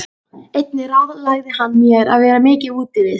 Einnig ráðlagði hann mér að vera mikið úti við.